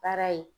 Baara ye